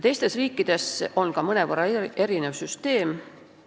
Teistes riikides on ka mõnevõrra erinev süsteem.